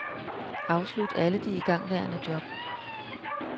Afslut alle de igangværende job.